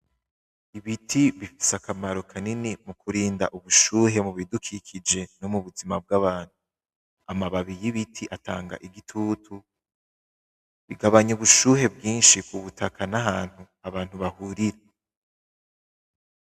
Ibiti bifise akamaro kanini mu kurinda ubushuhe mu bidukikije no mu buzima bwa bantu amababi y'ibiti atanga igitutu bigabanya ubushuhe bwishi ku butaka n'ahantu abantu bahurira.